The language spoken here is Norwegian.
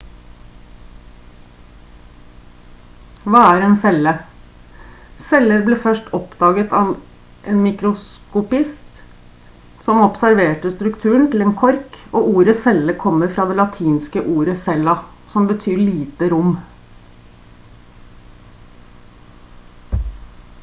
hva er en celle? celler ble først oppdaget av en mikroskopist som observerte strukturen til en kork og ordet celle kommer fra det latinske ordet «cella» som betyr «lite rom»